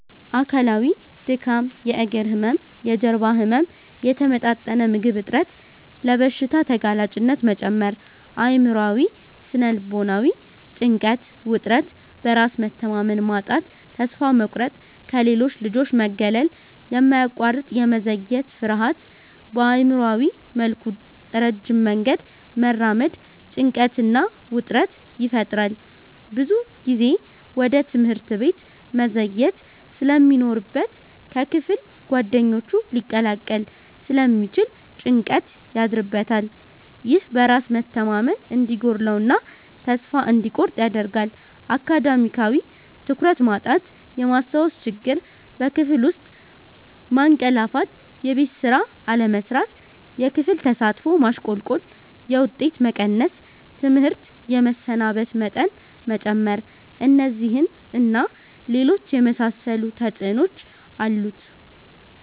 አካላዊ:-ድካም፣ የእግር ህመም፣ የጀርባ ህመም፣ የተመጣጠነ ምግብ እጥረት፣ ለበሽታ ተጋላጭነት መጨመር። አእምሯዊ / ስነ-ልቦናዊ:-ጭንቀት፣ ውጥረት፣ በራስ መተማመን ማጣት፣ ተስፋ መቁረጥ፣ ከሌሎች ልጆች መገለል፣ የማያቋርጥ የመዘግየት ፍርሃት። በአእምሯዊ መልኩ ረጅም መንገድ መራመድ ጭንቀትና ውጥረት ይፈጥራል። ብዙ ጊዜ ወደ ትምህርት ቤት መዘግየት ስለሚኖርበት ከክፍል ጓደኞቹ ሊላቀቅ ስለሚችል ጭንቀት ያድርበታል። ይህ በራስ መተማመን እንዲጎድለው እና ተስፋ እንዲቆርጥ ያደርጋል። አካዳሚያዊ:-ትኩረት ማጣት፣ የማስታወስ ችግር፣ በክፍል ውስጥ ማንቀላፋትየቤት ስራ አለመስራት፣ የክፍል ተሳትፎ ማሽቆልቆል፣ የውጤት መቀነስ፣ ትምህርት የመሰናበት መጠን መጨመር። እነዚህን እና ሌሎች የመሳሰሉ ተጽዕኖዎች አሉት።